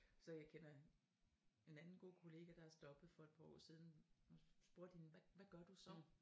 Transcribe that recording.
Så jeg kender en anden god kollega der er stoppet for et par år siden og spurgte hende hvad hvad gør du så